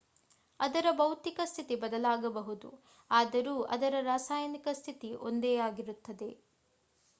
ಅದರ ಭೌತಿಕ ಸ್ಥಿತಿ ಬದಲಾಗಬಹುದು ಆದರೂ ಅದರ ರಾಸಾಯನಿಕ ಸ್ಥಿತಿ ಒಂದೇ ಆಗಿರುತ್ತದೆ